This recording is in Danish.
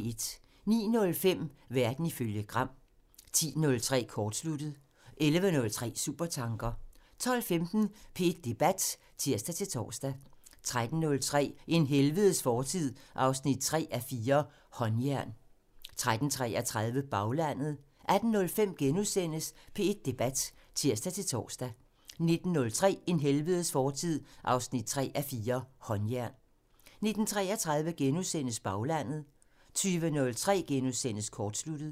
09:05: Verden ifølge Gram (tir) 10:03: Kortsluttet (tir) 11:03: Supertanker (tir) 12:15: P1 Debat (tir-tor) 13:03: En helvedes fortid 3:4 – Håndjern 13:33: Baglandet (tir) 18:05: P1 Debat *(tir-tor) 19:03: En helvedes fortid 3:4 – Håndjern 19:33: Baglandet *(tir) 20:03: Kortsluttet *(tir)